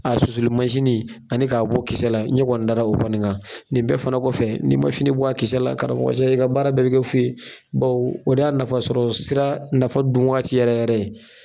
A susuli masini ani k'a bɔ kisɛ la, ɲɛ kɔni dara o kɔni kan. Nin bɛɛ fana kɔfɛ n'i ma fini bɔ a kisɛ la karamɔgɔcɛ i ka baara bɛɛ bɛ kɛ fu ye bawo o de y'a nafa sɔrɔ sira nafa dun wagati yɛrɛ yɛrɛ ye.